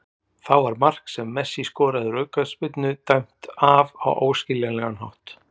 Þá var mark sem Messi skoraði úr aukaspyrnu dæmt af á óskiljanlegan hátt.